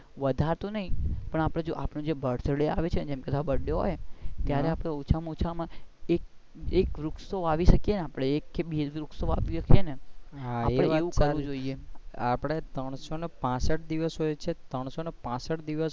પણ આપણે જો birthday આવે છે ને birthday હોય ત્યારે આપણે ઓછા માં ઓછા માં એક તો વૃક્ષ વાવી શકીયે ને આપણે એક કે બે વાવી શકીયે ને આપણે એવું કાડવું પડે. આપડે ત્રણસો ને પાંસઠ દીવસ હોઈ છે ત્રણસો ને પાંસઠ દીવસ